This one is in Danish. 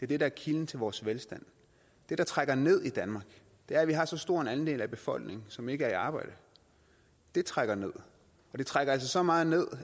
det der er kilden til vores velstand det der trækker ned i danmark er at vi har så stor en andel af befolkningen som ikke er i arbejde det trækker ned og det trækker altså så meget ned